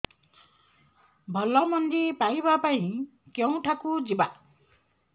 ଭଲ ମଞ୍ଜି ପାଇବା ପାଇଁ କେଉଁଠାକୁ ଯିବା